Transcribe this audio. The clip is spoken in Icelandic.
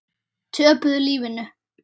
Töpuðu lífinu.